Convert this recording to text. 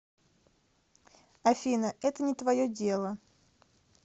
афина это не твое дело